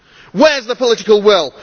Where is the political will